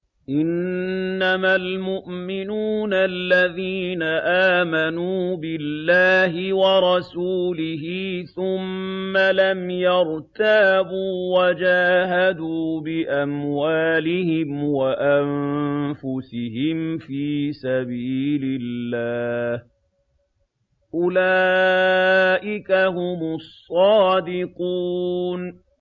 إِنَّمَا الْمُؤْمِنُونَ الَّذِينَ آمَنُوا بِاللَّهِ وَرَسُولِهِ ثُمَّ لَمْ يَرْتَابُوا وَجَاهَدُوا بِأَمْوَالِهِمْ وَأَنفُسِهِمْ فِي سَبِيلِ اللَّهِ ۚ أُولَٰئِكَ هُمُ الصَّادِقُونَ